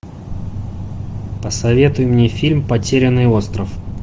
посоветуй мне фильм потерянный остров